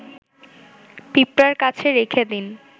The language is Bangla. পিঁপড়ার কাছে রেখে দিন